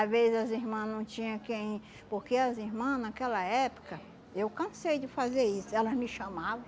Às vezes as irmãs não tinha quem... Porque as irmãs, naquela época, eu cansei de fazer isso, elas me chamavam.